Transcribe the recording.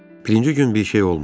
Birinci gün bir şey olmadı.